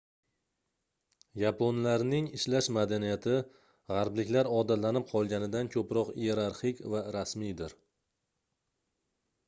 yaponlarning ishlash madaniyati gʻarbliklar odatlanib qolganidan koʻproq iyerarxik va rasmiydir